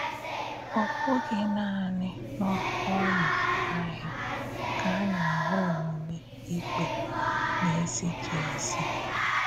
Ọ̀ bụ̀ghị nànị̀ n’òmà áhịa ka a na-ähụ̀ ọ̀múmè ìkpè na-èzìghì èzí.